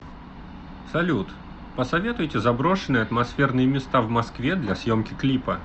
салют посоветуйте заброшенные атмосферные места в москве для съемки клипа